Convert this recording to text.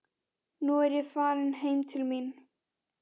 Nú er ég farin heim til mín.